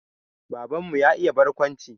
Baban mu ya iya barkwanci